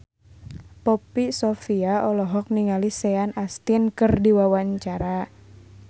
Poppy Sovia olohok ningali Sean Astin keur diwawancara